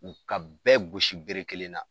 U ka bɛɛ gosi bere kelen na.